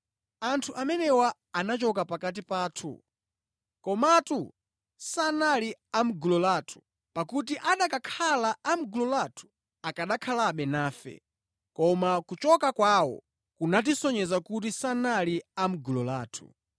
Anthu amenewa anachoka pakati pathu, komatu sanali a mʼgulu lathu. Pakuti akanakhala a mʼgulu lathu, akanakhalabe nafe, koma kuchoka kwawo kunatisonyeza kuti sanali a mʼgulu lathu.